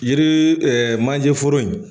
Yiri manjɛ foro in